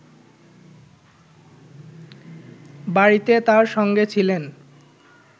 বাড়িতে তার সঙ্গে ছিলেন